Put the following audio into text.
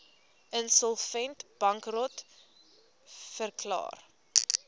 insolvent bankrot verklaar